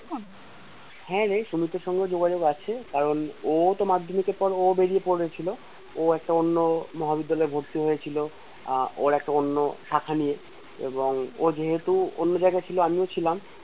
হ্যাঁ রে সুমিতের সঙ্গেও যোগাযোগ আছে কারণ ও তো মাধ্যমিকে পড়ে ও বেরিয়ে পড়েছিল ও একটা অন্য মহাবিদ্যালয়ে ভর্তি হয়েছিলো আহ ওর একটা অন্য কাঠা নিয়ে এবং ও যেহেতু অন্য জায়গায় ছিল আমিও ছিলাম